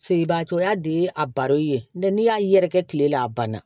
Feereba cogoya de ye a baro ye n'i y'a yɛrɛkɛ tile la a banna